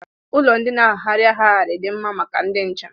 Ụlọ ndị na-agagharị agagharị dị mma maka ndị njem